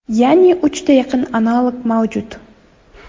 Ya’ni uchta yaqin analog mavjud.